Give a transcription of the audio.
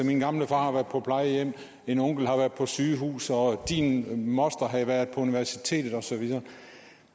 min gamle far har været på plejehjem en onkel har været på sygehus og en andens moster havde været på universitetet og så videre